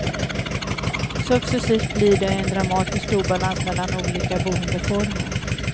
Successivt blir det en dramatisk obalans mellan olika boendeformer.